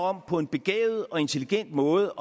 om på en begavet og intelligent måde